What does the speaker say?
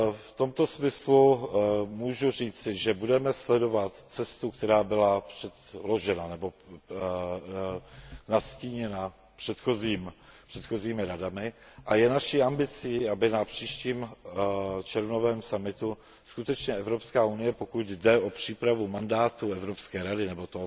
V tomto smyslu můžu říci, že budeme sledovat cestu, která byla předložena nebo nastíněna předchozími Radami, a je naší ambicí, aby na příštím červnovém summitu Evropská unie, pokud jde o přípravu mandátu Evropské rady nebo